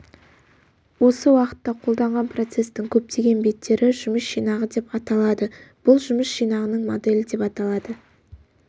осы уақытта қолданған процестің көптеген беттері жұмыс жинағы деп аталады бұл жұмыс жинағының моделі деп аталады